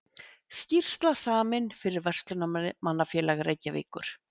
Skýrsla samin fyrir Verslunarmannafélag Reykjavíkur.